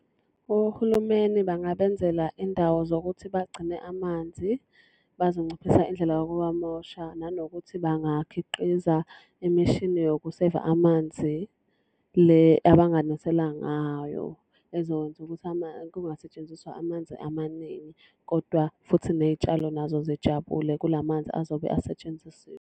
Ohulumeni bangabenzela indawo zokuthi bagcine amanzi, bazonciphisa indlela yokuwamosha, nanokuthi bangakhiqiza imishini yokuseyiva amanzi. Le abanganisela ngayo, ezokwenza ukuthi kungasetshenziswa amanzi amaningi. Kodwa futhi ney'tshalo nazo zijabule kulamanzi azobe asetshenzisiwe.